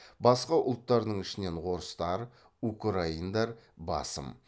басқа ұлттардың ішінен орыстар украиндар басым